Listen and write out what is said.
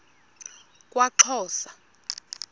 kwaxhosa